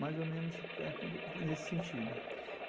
Mais ou menos nesse sentido.